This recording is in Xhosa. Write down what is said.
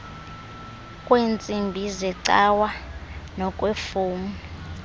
kweentsimbi zecawe nokweefowuni